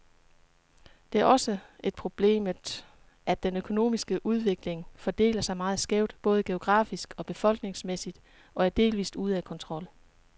Det er også et problemet, at den økonomiske udvikling fordeler sig meget skævt, både geografisk og befolkningsmæssigt, og er delvist ude af kontrol.